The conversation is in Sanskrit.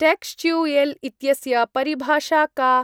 टेक्श्च्युयेल् इत्यस्य परिभाषा का?